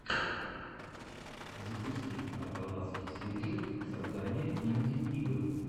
запусти арталаский сиджи создание инди игр